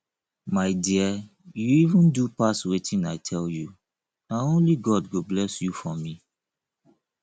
my dear you even do pass wetin i tell you na only god go bless you for me